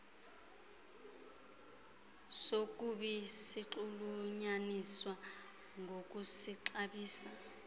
sokubi sinxulunyaniswa nokuzixabisa